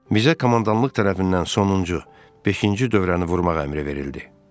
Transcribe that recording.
Bizə komandanlıq tərəfindən sonuncu beşinci dövrəni vurmaq əmri verildi.